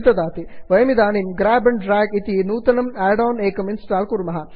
वयमिदानीं grab and drag grab and drag इति नूतनं आड् आन् एकं इन्स्टाल् कुर्मः